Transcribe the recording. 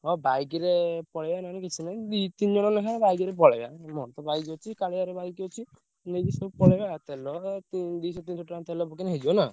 ହଁ bike ରେ ପଳେଇବା ନହେଲେ କିଛି ନାହିଁ ଦି ତିନିଜଣ ଲେଖା bike ରେ ପଳେଇବା ଉଁ ମୋରତ bike ଅଛି କାଳିଆର bike ଅଛି ନେଇକି ସବୁ ପଳେଇବା ତେଲ ଉଁ ଦିଶ ତିନିସ ଟଙ୍କାରେ ତେଲ ପକେଇଲେ ହେଇଯିବ ନା?